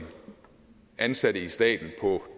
ansatte i staten på